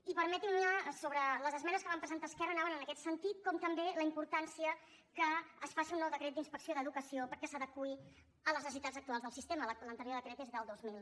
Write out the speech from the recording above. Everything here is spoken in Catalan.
i permetin me sobre les esmenes que va presentar esquerra anaven en aquest sentit com també la importància que es faci un nou decret d’inspecció d’educació perquè s’adeqüi a les necessitats actuals del sistema l’anterior decret és del dos mil